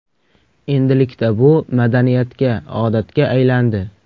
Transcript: Endilikda bu madaniyatga, odatga aylandi.